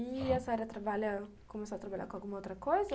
E a senhora trabalha, começou a trabalhar com alguma outra coisa?